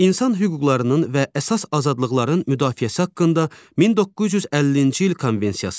İnsan hüquqlarının və əsas azadlıqların müdafiəsi haqqında 1950-ci il konvensiyası.